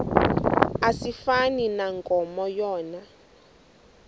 asifani nankomo yona